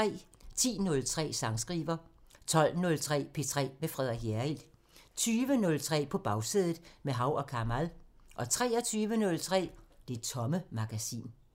10:03: Sangskriver 12:03: P3 med Frederik Hjerrild 20:03: På Bagsædet – med Hav & Kamal 23:03: Det Tomme Magasin